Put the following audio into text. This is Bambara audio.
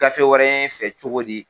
Gafe wɛrɛ y'e fɛ cogo di!